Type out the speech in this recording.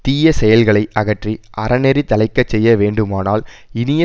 தீய செயல்களை அகற்றி அறநெறி தழைக்க செய்ய வேண்டுமானால் இனிய